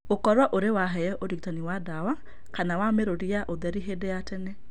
Gũkorũo ũrĩ waheo ũrigitani wa ndawa kana wa mĩrũri ya ũtheri hĩndĩ ya tene.